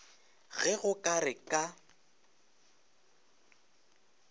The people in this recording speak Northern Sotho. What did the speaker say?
ge go ka re ka